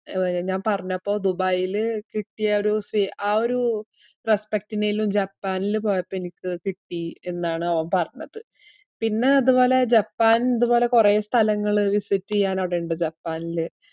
ഏർ ഞാൻ പറഞ്ഞപ്പോ ദുബായീല് കിട്ടിയ ആ ഒരു സ്വീ~ ആ ഒരു respect ഇനേലും ജപ്പാനില് പോയപ്പോ എനിക്ക് കിട്ടീ എന്നാണ് അവൻ പറഞ്ഞത്. പിന്ന അതുപോലെ ജപ്പാൻ ഇതുപോലെ കൊറേ സ്ഥലങ്ങള് visit ചെയ്യാൻ അവിടെയിണ്ട് ജപ്പാനില്.